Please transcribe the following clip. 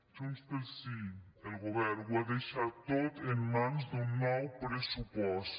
junts pel sí el govern ho ha deixat tot en mans d’un nou pressupost